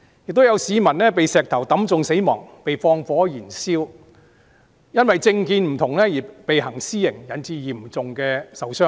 又有市民被石頭擊中死亡、被縱火燃燒，他們都因為政見不同而被行私刑，因而嚴重受傷。